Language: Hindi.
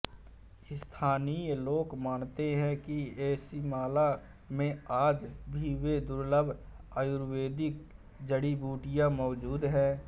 स्थानीय लोग मानते हैं कि एझिमाला में आज भी वे दुर्लभ आयुर्वेदिक जड़ीबूटियां मौजूद हैं